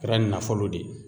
Kɛra nafolo de ye